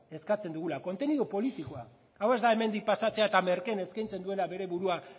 eskatzen dugula kontenido politikoa hau ez da hemendik pasatzea eta merkeen eskaintzen duela bere burua